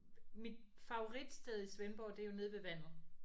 Mit favoritsted i Svendborg det er jo nede ved vandet